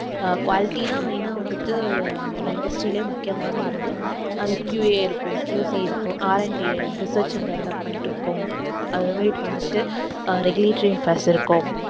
அஹ் quality தான் main ஆ வந்துட்டு ஒரு industry லயே முக்கியமான ஒரு இது அது QA இருக்கும் QC இருக்கும் R and D research and development இருக்கும் அது மாதிரி வந்துட்டு regulatory இருக்கும்